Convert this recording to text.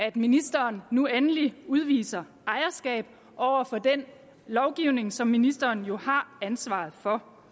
at ministeren nu endelig udviser ejerskab over for den lovgivning som ministeren jo har ansvaret for